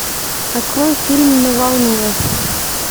открой фильм на волне